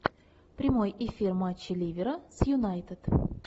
прямой эфир матча ливера с юнайтед